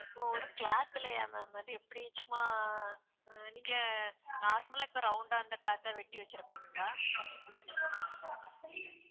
ஒரு cloth லயா ma'am அது எப்படி சும்மா அஹ் நீங்க normal லா இப்ப round ஆ அந்த cloth ஆ வெட்டி வெச்சுருப்பீங்களா